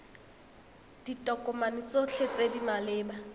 ditokomane tsotlhe tse di maleba